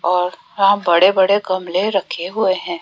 और यहां बड़े बड़े गमले रखे हुए हैं।